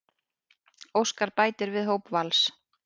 Óskar bætir við hóp Vals